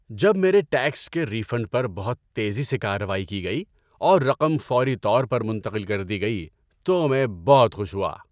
جب میرے ٹیکس کے ری فنڈ پر بہت تیزی سے کارروائی کی گئی اور رقم فوری طور پر منتقل کر دی گئی تو میں بہت خوش ہوا۔